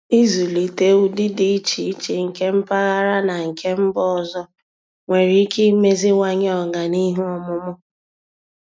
Ịzụlite ụdị dị iche iche nke mpaghara na nke mba ọzọ nwere ike imeziwanye ọganihu ọmụmụ.